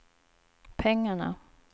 pengarna